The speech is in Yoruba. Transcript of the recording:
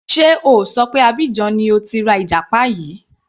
Sé O ṣọ pé Abidjan ni o ti ra ìjàpá yìí.